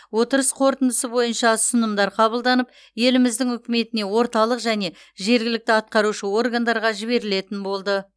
отырыс қорытындысы бойынша ұсынымдар қабылданып еліміздің үкіметіне орталық және жергілікті атқарушы органдарға жіберілетін болды